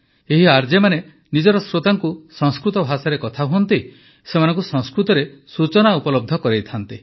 ଏହି ଆର୍ଜେମାନେ ନିଜର ଶ୍ରୋତାଙ୍କୁ ସଂସ୍କୃତ ଭାଷାରେ କଥା ହୁଅନ୍ତି ସେମାନଙ୍କୁ ସଂସ୍କୃତରେ ସୂଚନା ଉପଲବ୍ଧ କରାଇଥାନ୍ତି